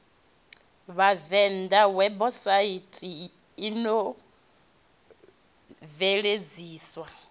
vhavenḓa webusaithi ino yo bveledziswa